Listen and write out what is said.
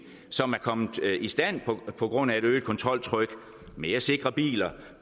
som er kommet i stand på grund af et øget kontroltryk mere sikre biler